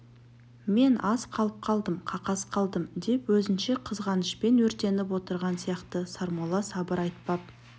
мен аз алып қалдым қақас қалдым деп өзінше қызғанышпен өртеніп отырған сияқты сармолла сабыр айтпап